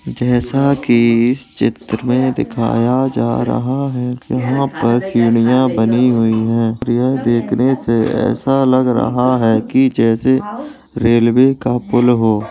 जैसा की इस चित्र मे दिखाया जा रहा है की यहाँ पर सीढ़ियां बनी हुई हैं और यह देखने से ऐसा लग रहा है की जैसे रेलवे का पूल हो।